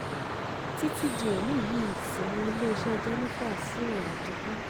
títí di òní yìí sí ni iléeṣẹ́ jẹ́nifà ṣì wà digbí